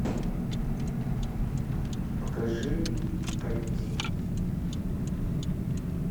покажи комедии